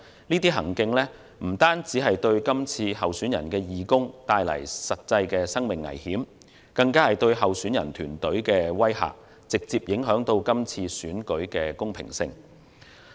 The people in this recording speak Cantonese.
這種行徑不單對候選人的義工構成實際的生命危險，更加是對候選人團隊的威嚇，直接影響今次選舉的公平性。